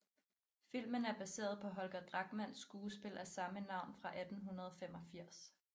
Filmen er baseret på Holger Drachmanns skuespil af samme navn fra 1885